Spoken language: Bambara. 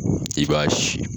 Olu de b'a si.